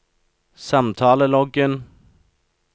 samtaleloggen